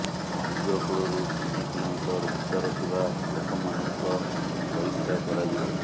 ସମୁଦ୍ର କୂଳରୁ ତିନି କିଲୋମିଟର ଭିତର ଥିବା ଲୋକମାନଙ୍କ ପରୀକ୍ଷା କରାଯିବ